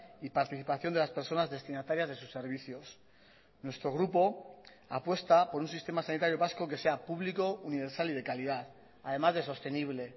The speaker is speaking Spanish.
y participación de las personas destinatarias de sus servicios nuestro grupo apuesta por un sistema sanitario vasco que sea público universal y de calidad además de sostenible